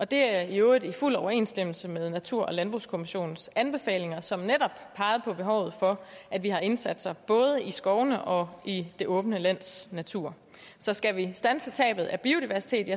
det er i øvrigt i fuld overensstemmelse med natur og landbrugskommissionens anbefalinger som netop pegede på behovet for at vi har indsatser både i skovene og i det åbne lands natur så skal vi standse tabet af biodiversitet